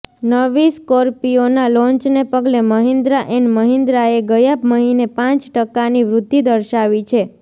નવી સ્કોર્પિયોના લોન્ચને પગલે મહિન્દ્રા એન્ડ મહિન્દ્રાએ ગયા મહિને પાંચ ટકાની વૃદ્ધિ દર્શાવી છે